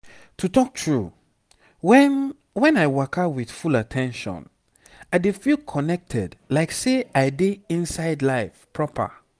to talk true when when i waka with full at ten tion i dey feel connected like say i dey inside life proper.